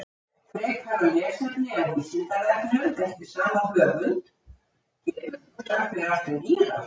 Frekara lesefni á Vísindavefnum eftir sama höfund: Getur þú sagt mér allt um gíraffa?